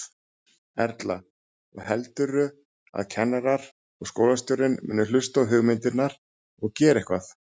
Erla: Og heldurðu að kennarar og skólastjórinn muni hlusta á hugmyndirnar og gera eitthvað?